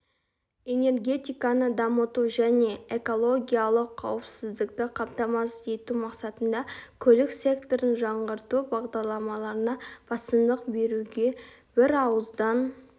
энергетиканы дамыту және экологиялық қауіпсіздікті қамтамасыз ету мақсатында көлік секторын жаңғырту бағдарламаларына басымдық беруге бірауыздан